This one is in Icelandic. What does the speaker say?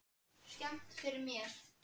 Og þetta skemmdi fyrir mér.